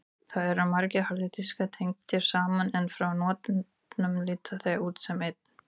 Þar eru margir harðir diskar tengdir saman en frá notandanum líta þeir út sem einn.